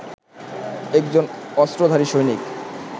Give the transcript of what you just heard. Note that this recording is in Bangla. একজন অস্ত্রধারী সৈনিক